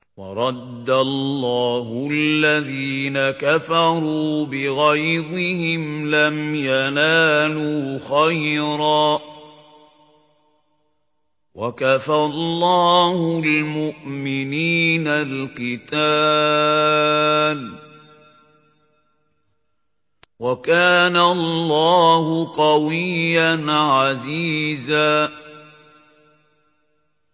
وَرَدَّ اللَّهُ الَّذِينَ كَفَرُوا بِغَيْظِهِمْ لَمْ يَنَالُوا خَيْرًا ۚ وَكَفَى اللَّهُ الْمُؤْمِنِينَ الْقِتَالَ ۚ وَكَانَ اللَّهُ قَوِيًّا عَزِيزًا